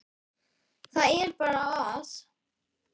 Það er bara að.